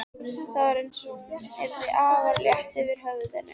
Það var einsog hún yrði afar létt yfir höfðinu.